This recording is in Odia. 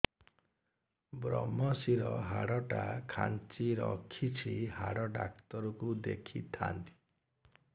ଵ୍ରମଶିର ହାଡ଼ ଟା ଖାନ୍ଚି ରଖିଛି ହାଡ଼ ଡାକ୍ତର କୁ ଦେଖିଥାନ୍ତି